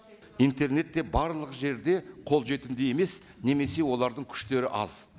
интернет те барлық жерде қолжетімді емес немесе олардың күштері аз